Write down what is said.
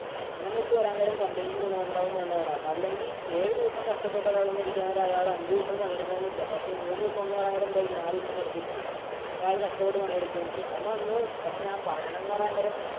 അങ്ങനെ വച്ച് വരാന്‍ നേരം company ക്കും ഗുണമുണ്ടാകും. അല്ലെങ്കില്‍ ഏഴുദിവസം കഷ്ടപ്പെട്ട് ഒരാൾ വന്നു ഇരിക്കാന്‍ നേരം അയാള് അഞ്ചു ദിവസം പണിയെടുക്കണം എന്നില്ല. പക്ഷെ മൂന്നു ദിവസം എന്ന് പറയാന്‍ നേരം എന്തായിരിക്കും നാല് ദിവസം വെറുതെയിരിക്കാം, അപ്പൊ അയാള്‍ കഷ്ടപ്പെട്ട് പണിയെടുക്കുകയും ചെയ്യും. നമ്മ അന്ന് പക്ഷേ ഞാന്‍ പറയണത് എന്ന് പറയാന്‍ നേരം